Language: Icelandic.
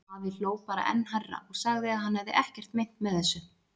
Afi hló bara enn hærra og sagði að hann hefði ekkert meint með þessu.